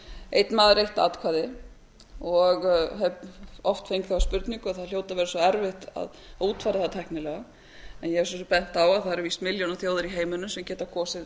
einn maður eitt atkvæði og hef oft fengið þá spurningu að það hljóti að vera svo erfitt að útfæra það tæknilega en ég hef svo sem bent á að það eru milljónaþjóðir í heiminum sem geta kosið